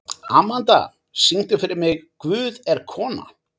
Amanda, syngdu fyrir mig „Guð er kona“.